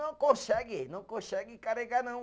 Não consegue, não consegue carregar, não.